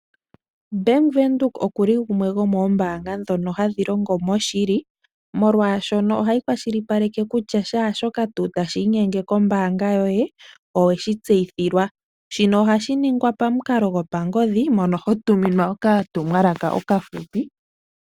Bank windhoek okuli gumwe gomoombanga dhono hadhi longo moshili, molwashono ohayi kwali shipaleke kutya shaashoka tuu tashinyenge kombaanga yoye oweshi tseyithilwa. shino ohashi ningwa pamukala gopangodhi mono hotuminwa oka tumwalaka okafupi.